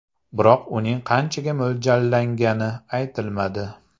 Biroq uning qanchaga mo‘ljallangani aytilmadi.